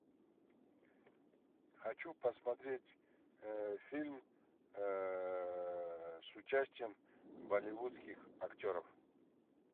хочу посмотреть фильм с участием болливудских актеров